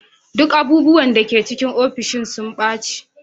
Duk abubuwan da ke cikin ofishin sun ɓace.